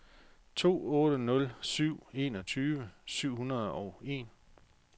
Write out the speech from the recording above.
to otte nul syv enogtyve syv hundrede og en